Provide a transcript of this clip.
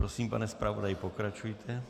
Prosím, pane zpravodaji, pokračujte.